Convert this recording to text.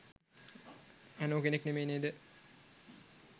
ඇනෝ කෙනෙක් නෙමේ නේද?